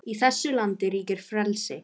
Í þessu landi ríkir frelsi!